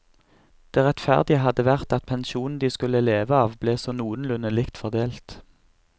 Det rettferdige hadde vært at pensjonen de skulle leve av ble så noenlunde likt fordelt.